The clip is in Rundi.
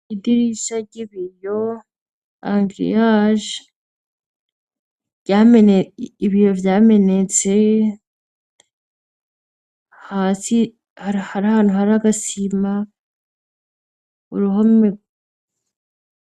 iidirisha ry'ibiyo angriag ibiyo byamenetse asihari hantu hari agasima uruhomer